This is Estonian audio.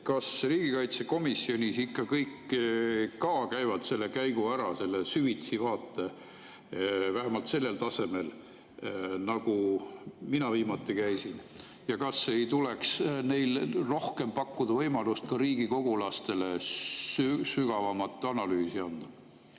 Kas riigikaitsekomisjonis ikka kõik ka käivad selle käigu ära, saavad selle süvitsi vaate, vähemalt sellel tasemel, nagu mina viimati sain, ja kas ei tuleks rohkem pakkuda võimalust ka riigikogulastele sügavamat analüüsi anda?